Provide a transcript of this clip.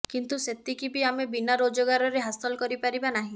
କିନ୍ତୁ ସେତିକି ବି ଆମେ ବିନା ରୋଜଗାରରେ ହାସଲ କରିପାରିବା ନାହିଁ